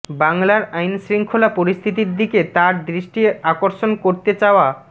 বাংলার আইনশৃঙ্খলা পরিস্থিতির দিকে তাঁর দৃষ্টি আকর্ষণ করতে চাওয়া